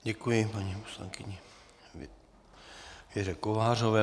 Děkuji paní poslankyni Věře Kovářové.